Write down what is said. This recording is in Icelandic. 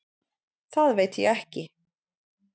Það veit ég ekki.